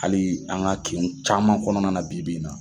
Hali an ka kin caman kɔnɔna na bi bi in na